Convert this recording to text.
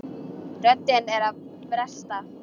Röddin er að bresta.